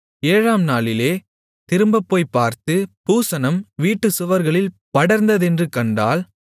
ஏழாம்நாளிலே திரும்பப் போய்ப்பார்த்து பூசணம் வீட்டுச் சுவர்களில் படர்ந்ததென்று கண்டால்